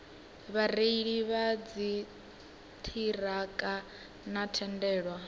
vhareili vha dziṱhirakha vho tendelwa